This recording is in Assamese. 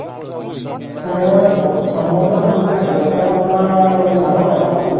এয়ে প্ৰথমত, মই যাওঁতে দুটা আনিছিলো । এটা তোমাৰ মানে ডাঙৰ, এটা সৰু ।